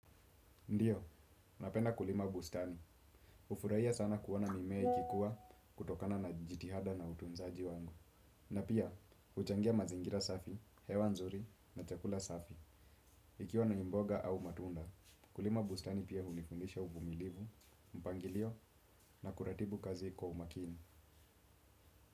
Ndiyo, napenda kulima bustani. Hufurahia sana kuona mimea ikikuwa kutokana na jitihada na utunzaji wangu. Na pia, huchangia mazingira safi, hewa nzuri na chakula safi. Ikiwa ni mboga au matunda, kulima bustani pia hunifundisha uvumilivu, mpangilio na kuratibu kazi kwa umakini.